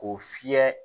K'o fiyɛ